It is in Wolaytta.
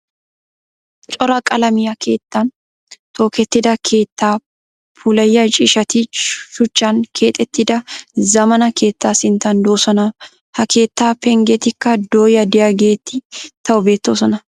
Cora qalamiya keettan tokettida keettaa puulayiya ciishshati shuchchan keexettida zammaana keettaa sinttan doosona. Ha keettaa penggetikka dooya diyageeti tawu beettoosona.